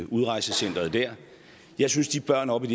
udrejsecenteret der jeg synes de børn oppe i